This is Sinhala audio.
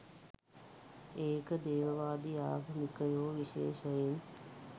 ඒක දේවවාදී ආගමිකයෝ විශේෂයෙන්